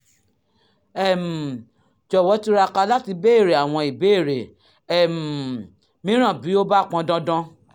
um jọ̀wọ́ túraká láti béèrè àwọn ìbéèrè um mìíràn bí ó bá pọn dandan